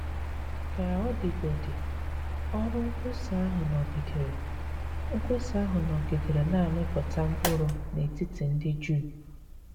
Ka ọ dịgodị, ọrụ nkwusa ahụ nọgidere nkwusa ahụ nọgidere na - amịpụta mkpụrụ n’etiti ndị Juu.